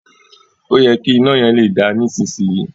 Òyẹ ki ina yẹn le da nisisiyi.